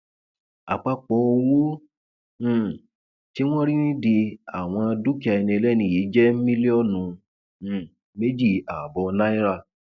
àpapọ owó um tí wọn rí nídìí àwọn dúkìá ẹni ẹlẹni yìí jẹ mílíọnù um méjì ààbọ náírà